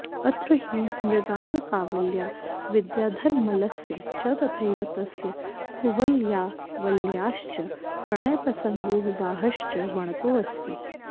अत्र हि मृगाङ्कावल्या विद्याधरमल्लस्य च तथैव तस्य कुवलयावल्याश्च प्रणयप्रसङ्गो विवाहश्च वणतोऽस्ति